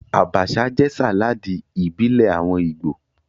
Abacha jẹ́ sàláàdì ìbílẹ̀ àwọn Ìgbò